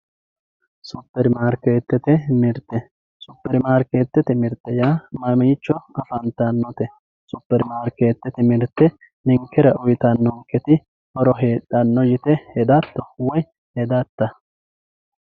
Super marketete mirte super marketete mirte yaa mamicho afantanote supermarketete ninkera uyitanoti horro hedhano yinumoro hatto yite hedato woyi hedata